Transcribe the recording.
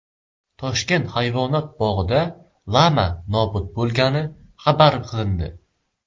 Toshkent hayvonot bog‘ida lama nobud bo‘lgani xabar qilindi.